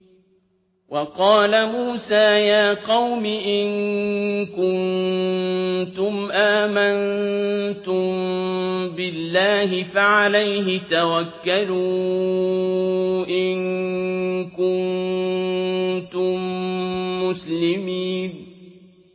وَقَالَ مُوسَىٰ يَا قَوْمِ إِن كُنتُمْ آمَنتُم بِاللَّهِ فَعَلَيْهِ تَوَكَّلُوا إِن كُنتُم مُّسْلِمِينَ